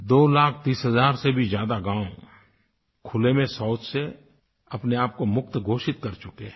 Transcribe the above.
2 लाख 30 हज़ार से भी ज्यादा गाँव खुले में शौच से अपने आपको मुक्त घोषित कर चुके हैं